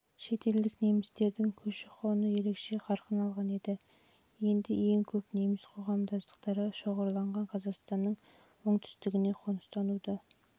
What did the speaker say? бірге және шетелдік немістердің көші-қоны ерекше қарқын алған еді ең көп неміс қоғамдастықтары шоғырланған қазақстанның оңтүстігіне қоныстануды